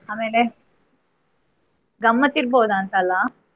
ಆಮೇಲೆ ಗಮ್ಮತ್ ಇರ್ಬೋದಾ ಅಂತ ಅಲ್ಲ.